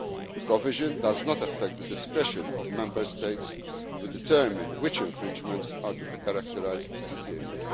Community level. The provision does not affect the discretion of Member States to determine which infringements are to be characterised